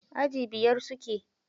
A aji biyar suke.